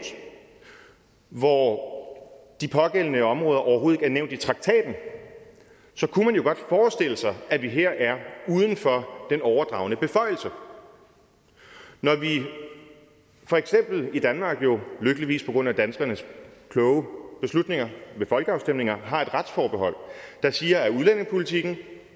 hvor de pågældende områder overhovedet ikke er nævnt i traktaten kunne man jo godt forestille sig at vi her er uden for den overdragende beføjelse når når vi for eksempel i danmark lykkeligvis på grund af danskernes kloge beslutninger ved folkeafstemninger har et retsforbehold der siger at udlændingepolitikken